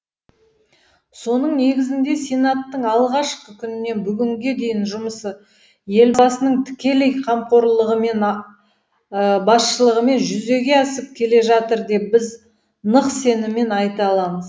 соның негізінде сенаттың алғашқы күнінен бүгінге дейінгі жұмысы елбасының тікелей қамқорлығымен басшылығымен жүзеге асып келе жатыр деп біз нық сеніммен айта аламыз